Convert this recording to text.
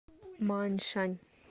мааньшань